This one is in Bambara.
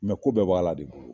Mɛ ko bɛɛ bɛ bɔ Ala de bolo .